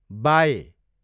bye